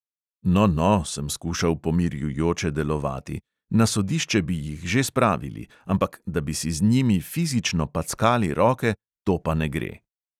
No, no, sem skušal pomirjujoče delovati, na sodišče bi jih že spravili, ampak da bi si z njimi fizično packali roke, to pa ne gre.